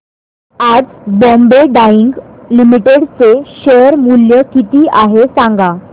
आज Bombay dyeing limited चे share मूल्य किती आहे सांगा